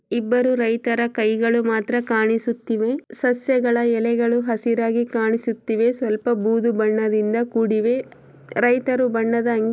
ಇಬ್ಬರು ರೈತರ ಕೈಗಳು ಮಾತ್ರ ಕಾಣಿಸುತ್ತಿವೆ ಸಸ್ಯಗಳ ಎಲೆಗಳು ಹಸಿರಾಗಿ ಕಾಣಿಸುತ್ತಿವೆ ಸ್ವಲ್ಪ ಬೂದುಬಣ್ಣ ದಿಂದ ಕುಡಿದಿವೆ ರೈತಾ ಅಂಗಿ--